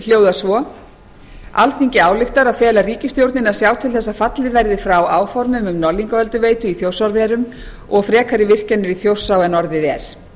hljóðar svo alþingi ályktar að fela ríkisstjórninni að sjá til þess að fallið verði frá áformum um norðlingaölduveitu í þjórsárverum og frekari virkjanir í þjórsá en orðið er